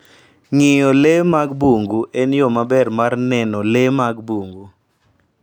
Ng'iyo le mag bungu en yo maber mar neno le mag bungu.